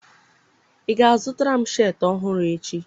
ị ga-azụtara m sheetị ọhụrụ echi!